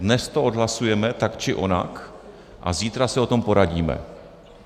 Dnes to odhlasujeme tak či onak a zítra se o tom poradíme.